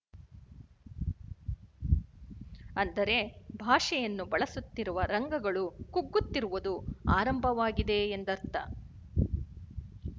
ಅಂದರೆ ಭಾಷೆಯನ್ನು ಬಳಸುತ್ತಿರುವ ರಂಗಗಳು ಕುಗ್ಗುತ್ತಿರುವುದು ಆರಂಭವಾಗಿದೆ ಎಂದರ್ಥ